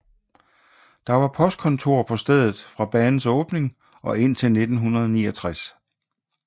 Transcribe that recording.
Der var postkontor på stedet fra banens åbning og indtil 1969